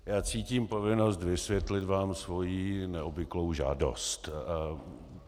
Já cítím povinnost vysvětlit vám svoji neobvyklou žádost.